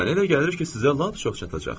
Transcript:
Mənə elə gəlir ki, sizə lap çox çatacaq.